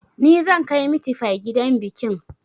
Ni zan kai mitifai gidan bikin